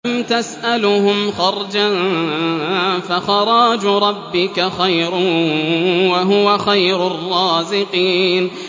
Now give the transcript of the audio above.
أَمْ تَسْأَلُهُمْ خَرْجًا فَخَرَاجُ رَبِّكَ خَيْرٌ ۖ وَهُوَ خَيْرُ الرَّازِقِينَ